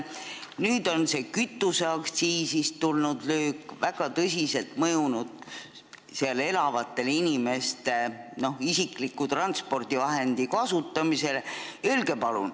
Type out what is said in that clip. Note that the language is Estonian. Nüüd on kütuseaktsiisist tulnud löök väga tõsiselt mõjunud seal piirkonnas elavate inimeste isikliku transpordivahendi kasutamisele.